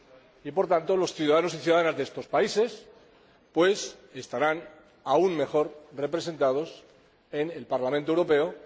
Y por tanto, los ciudadanos y ciudadanas de estos países estarán aún mejor representados en el Parlamento Europeo.